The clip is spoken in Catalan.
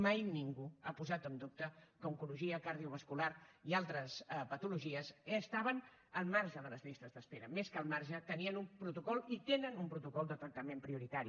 mai ningú ha posat en dubte que oncologia cardiovascular i altres patologies estaven al marge de les llistes d’espera més que al marge tenien un protocol i tenen un protocol de tractament prioritari